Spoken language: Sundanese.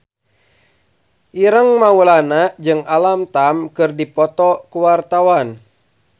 Ireng Maulana jeung Alam Tam keur dipoto ku wartawan